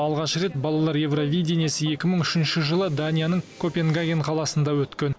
алғаш рет балалар евровидияниясы екі мың үшінші жылы данияның копенгаген қаласында өткен